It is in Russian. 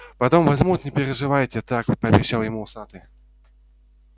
потом возьмут не переживайте так пообещал ему усатый